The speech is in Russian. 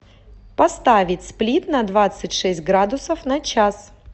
поставить сплит на двадцать шесть градусов на час